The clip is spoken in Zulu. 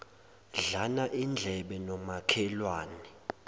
dlana indlebe nomakhelwane